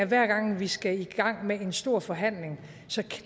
hver gang vi skal i gang med en stor forhandling